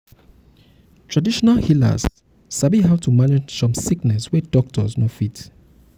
traditional healers um sabi how um to manage some sickness wey doctors um no fit.